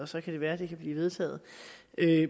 så kan være at det kan blive vedtaget